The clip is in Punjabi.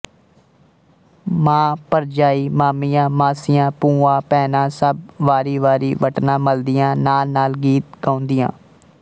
ਮਾਂ ਭਰਜਾਈ ਮਾਮੀਆਂ ਮਾਸੀਆਂ ਭੂਆ ਭੈਣਾਂ ਸਭ ਵਾਰੀਵਾਰੀ ਵਟਣਾ ਮਲਦੀਆਂ ਨਾਲਨਾਲ ਗੀਤ ਗਾਉਂਦੀਆਂ